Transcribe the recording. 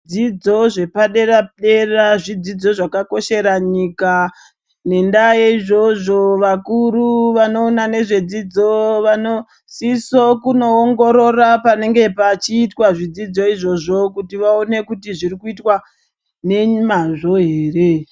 Zvidzidzo zvepadera dera zvidzidzo zvakakoshera nyika nendaya yeizvozvo vakuru vanoona nezvedzidzo vanosiso kunoongorora panenge pachiitwa zvidzidzo izvozvo kuti vaone kuti zvirikuitwa nemazvo here.